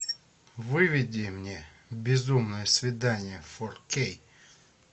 выведи мне безумное свидание фор кей